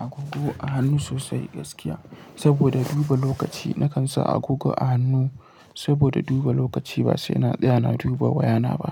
agogo a hannu sosai gaskiya, saboda dubu lokaci nakan sa agogo a hannu saboda duba lokaci ba sai na tsaya na duba waya ta ba.